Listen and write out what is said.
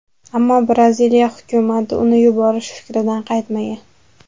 Ammo Braziliya hukumati uni yuborish fikridan qaytmagan.